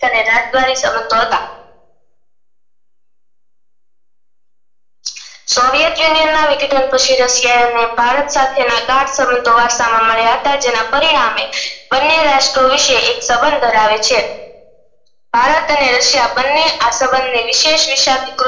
soviet union russia ના ભારત સાથે સંબંધો વાર્તા માં માંડ્યા હતા તેના પરિણામે બને રાષ્ટ્રો વિષે એક સંબંધ ધરાવે છે ભારત અને russia બને આ સંબંધ ના વિશેસ અધિકૃતઃ